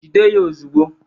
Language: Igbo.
Jide ya ozugbo!